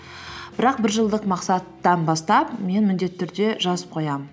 бірақ бір жылдық мақсаттан бастап мен міндетті түрде жазып қоямын